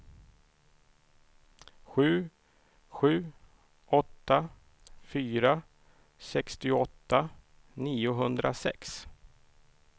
sju sju åtta fyra sextioåtta niohundrasex